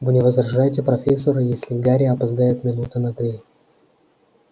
вы не возражаете профессор если гарри опоздает минуты на три